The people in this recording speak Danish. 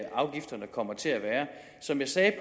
afgifterne kommer til at være som jeg sagde